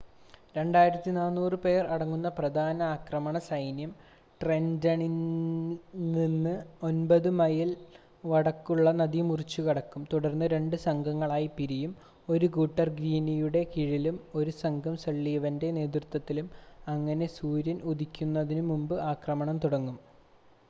2,400 പേർ അടങ്ങുന്ന പ്രധാന ആക്രമണ സൈന്യം ട്രെൻ്റണിൽനിന്ന് 9 മൈൽ വടക്കുള്ള നദി മുറിച്ച് കടക്കും തുടർന്ന് 2 സംഘങ്ങളായി പിരിയും 1 കൂട്ടർ ഗ്രീനിയുടെ കീഴിലും 1 സംഘം സള്ളിവൻ്റെ നേതൃത്വത്തിലും അങ്ങനെ സൂര്യൻ ഉദിക്കുന്നതിനു മുമ്പ് ആക്രമണം തുടങ്ങും